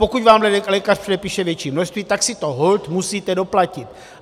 Pokud vám lékař předepíše větší množství, tak si to holt musíte doplatit.